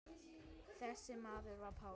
Þessi maður var Páll.